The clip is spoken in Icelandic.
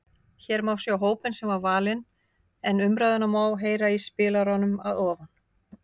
Hér má sjá hópinn sem valinn var en umræðuna má heyra í spilaranum að ofan.